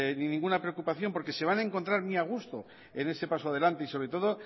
ninguna preocupación porque se van a encontrar muy a gusto en este paso adelante y sobre todo